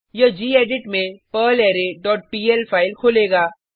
यह गेडिट में perlre dot PL file खोलेगा